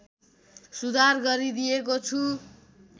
सुधार गरिदिएको छु